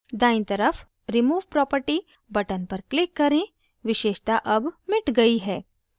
दायीं तरफ remove property button पर click करें विशेषता अब मिट गयी है